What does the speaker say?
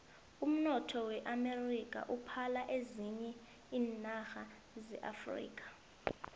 umnotho weamerika uphala ezinye iinarha zeafrika